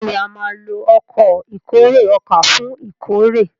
béèni a má ló Ọkọ̀ ìkórè ọkà fún ìkórè.